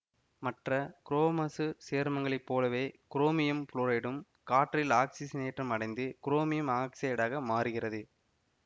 மற்ற குரோமசு சேர்மங்களைப் போலவே குரோமியம் புளோரைடும் காற்றில் ஆக்சிசனேற்றம் அடைந்து குரோமியம்ஆக்சைடாக மாறுகிறது